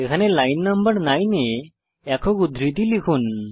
এখানে লাইন নং 9 এ একক উদ্ধৃতি লিখুন